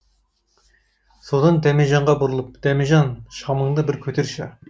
содан дәмежанға бұрылып дәмежан шамыңды бір көтерші